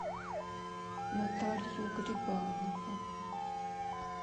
наталью грибанову